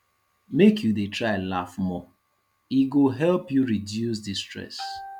make you dey try laugh more e go help you reduce di stress